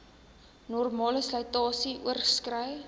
normale slytasie oorskrei